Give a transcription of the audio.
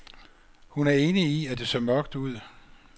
Hun er enig i, at det ser mørkt ud.